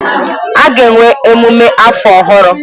A ga-enwe emume afọ ọhụrụ.